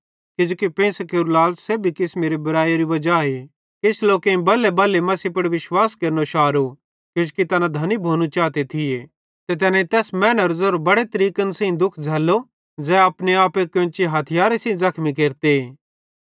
किजोकि पेइंसां केरू लालच़ सेब्भी किसमेरे बुरैइअरू वजाए किछ लोकेईं बलेबले मसीह पुड़ विश्वास केरनो शारो किजोकि तैना धनी भोनू चाते थिये ते तैनेईं तैस मैनेरो ज़ेरो बड़े तरीकन सेइं दुःख झ़ैल्लो ज़ै अपने आपे कोन्ची हथियारे सेइं ज़खमी केरते